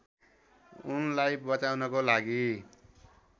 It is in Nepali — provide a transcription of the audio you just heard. उनलाई बचाउनको लागि